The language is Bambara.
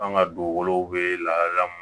An ka dugukolow bɛ lahalaya min